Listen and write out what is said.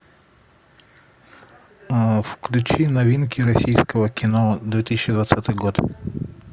включи новинки российского кино две тысячи двадцатый год